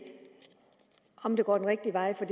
om det går den rigtige vej for